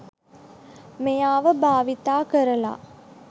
මෙයාව භාවිතා කරලා